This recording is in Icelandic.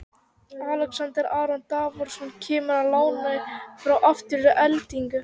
Alexander Aron Davorsson kemur á láni frá Aftureldingu.